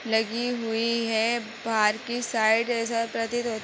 लगी हुई है। बाहर कि साइड ऐसा प्रतीत होत --